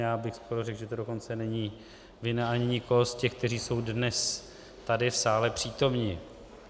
Já bych skoro řekl, že to dokonce není vina ani nikoho z těch, kteří jsou dnes tady v sále přítomni.